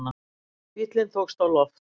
Bíllinn tókst á loft